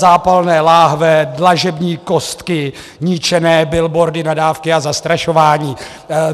Zápalné láhve, dlažební kostky, ničené billboardy, nadávky a zastrašování.